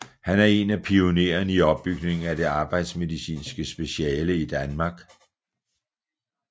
Han er en pionererne i opbygningen af det arbejdsmedicinske speciale i Danmark